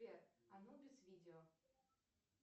сбер анубис видео